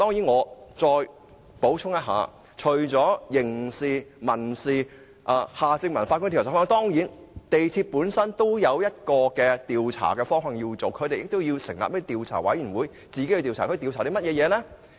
我再補充一下，除了刑事責任、民事責任，以及前法官夏正民的調查方向外，港鐵公司也應成立委員會進行調查，調查甚麼？